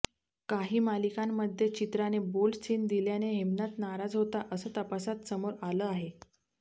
काही मालिकांमध्ये चित्राने बोल्ड सीन दिल्याने हेमनाथ नाराज होता असं तपासात समोर आलं आहे